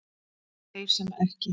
Þeir sem ekki